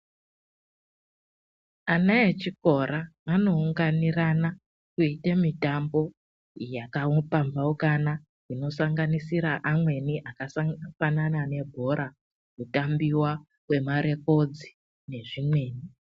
Ana echikora vano unganirana veyiita mitambo yaka pamhaukana ino sanganisira amweni akafanana nebhora, kutambiwa kwema rekodzi nezvimweni.